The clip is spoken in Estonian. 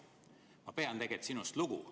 Ma pean sinust lugu.